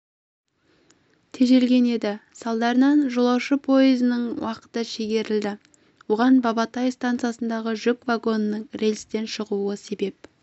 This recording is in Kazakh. тежелген еді салдарынан жолаушы пойызының уақыты шегерілді оған бабатай стансасындағы жүк вагонының рельстен шығуы себеп